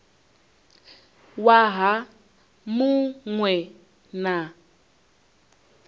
waha mu ṅ we na